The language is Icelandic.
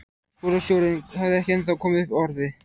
Skólastjórinn hafði ekki ennþá komið upp orði.